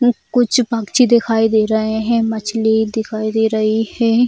यहां पर कुछ पक्षी दिखाई दे रहे हैं मछली दिखाई दे रही हैं।